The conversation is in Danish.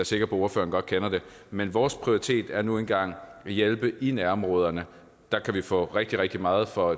sikker på at ordføreren godt kender det men vores prioritet er nu engang at hjælpe i nærområderne der kan vi få rigtig rigtig meget for